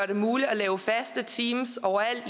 det muligt at lave faste teams overalt